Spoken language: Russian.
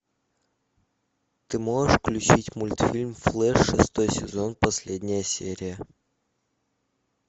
ты можешь включить мультфильм флэш шестой сезон последняя серия